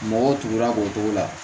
Mɔgɔw tugula k'o cogo la